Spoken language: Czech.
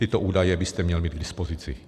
Tyto údaje byste měl mít k dispozici.